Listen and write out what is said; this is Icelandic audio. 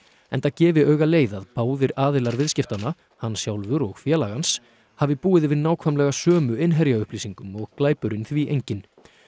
enda gefi augaleið að báðir aðilar viðskiptanna hann sjálfur og félag hans hafi búið yfir nákvæmlega sömu innherjaupplýsingum og glæpurinn því enginn